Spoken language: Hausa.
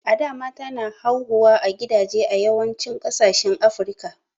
a da mata na hauhuwa a gidaje a yawancin kasashen africa